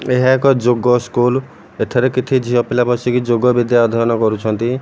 ଏହା ଏକ ଯୋଗ ସ୍କୁଲ୍ ଏଠାରେ କିଛି ଝିଅ ପିଲା ବସିକି ଯୋଗ ବିଦ୍ୟା ଅଧୟନ କରୁଛନ୍ତି।